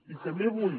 i també vull